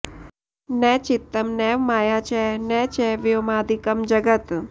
न चित्तं नैव माया च न च व्योमादिकं जगत्